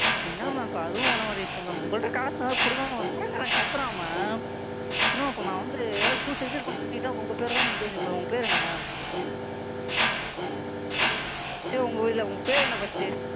என்ன Ma'am இப்ப அதுவும் பண்ண மாட்டீங்குறீங்க உங்கள்ட்ட காசு இருந்தா கொடுங்க Ma'am கடன்காரன் கத்துறான் Ma'am ma'am நான் அப்ப வந்து ஏதாவது Sucide பண்ணிக்கிட்டா உங்க பேர் தான் எழுதி வெப்பேன் Ma'am உங்க பேர் என்ன Ma'am உங்க பேர் என்ன First உ?